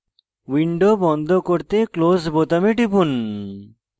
window বন্ধ করতে close বোতামে টিপুন